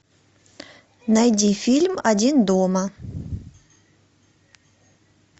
найди фильм один дома